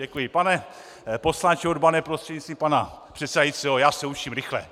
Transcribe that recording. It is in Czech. Děkuji, pane poslanče Urbane prostřednictvím pana předsedajícího, já se učím rychle.